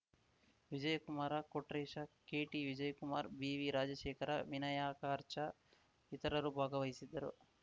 ವಿಜಯಕುಮಾರ ಕೊಟ್ರೇಶ ಕೆಟಿವಿಜಯಕುಮಾರ್ ಬಿವಿರಾಜಶೇಖರ ವಿನಾಯಕಾರ್ಚಾ ಇತರರು ಭಾಗವಹಿಸಿದ್ದರು